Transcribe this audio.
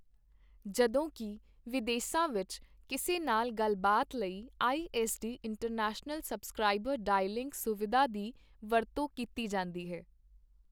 ਜਦੋਂਕਿ ਵਿਦੇਸਾਂ ਵਿੱਚ ਕਿਸੇ ਨਾਲ ਗੱਲਬਾਤ ਲਈ I S D international subscriber dialling ਸੁਵਿਧਾ ਦੀ ਵਰਤੋਂ ਕੀਤੀ ਜਾਂਦੀ ਹੈ।